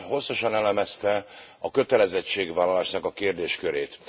Ön hosszasan elemezte a kötelezettségvállalásnak a kérdéskörét.